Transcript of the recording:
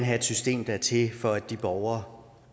have et system der er til for de borgere